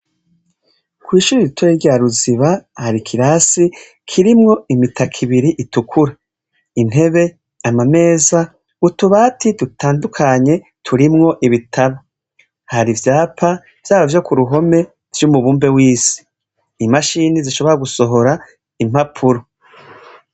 Kw'ishure ritoya rya Ruziba, hari ikirasi kirimwo imitaka ibiri itukura. Intebe, amameza, utubati dutandukanye turimwo ibitabu. Hari ivyapa, vyaba vyo ku ruhome vy'umubumbe w'isi. Imashini zishobora gusohora impapuro.